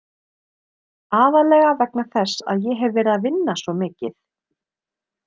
Aðallega vegna þess að ég hef verið að vinna svo mikið.